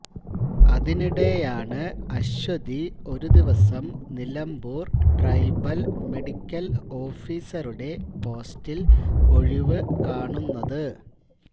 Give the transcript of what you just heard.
അതിനിടെയാണ് അശ്വതി ഒരു ദിവസം നിലമ്പൂര് ട്രൈബല് മെഡിക്കല് ഓഫീസറുടെ പോസ്റ്റില് ഒഴിവു കാണുന്നത്